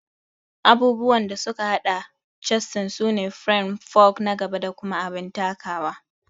Abubuwan da suka hada chassis sune firam, fork na gaba da kuma abin takawa